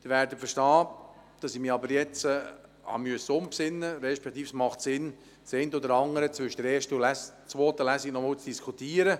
Sie werden aber verstehen, dass ich mich jetzt umbesinnen musste, beziehungsweise dass es Sinn macht, das eine oder andere zwischen der ersten und zweiten Lesung noch einmal zu diskutieren.